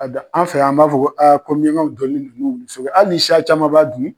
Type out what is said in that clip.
Abi an fɛ yan b'a fɔ aa hali ni sa caman b'a di